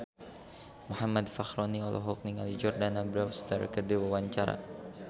Muhammad Fachroni olohok ningali Jordana Brewster keur diwawancara